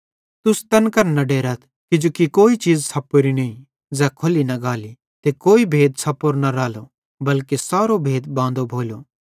तुस तैन करां न डेरथ किजोकि कोई चीज़ छ़प्पोरी नईं ज़ै खोल्ली न गाली ते कोई भेद छ़प्पोरो न रालो बल्के सारो भेद बांदो भोलो